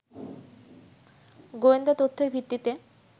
গোয়েন্দা তথ্যের ভিত্তিতে